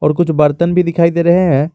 और कुछ बर्तन भी दिखाई दे रहे हैं।